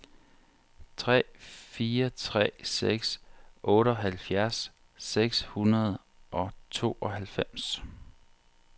tre fire tre seks otteoghalvfjerds seks hundrede og tooghalvfems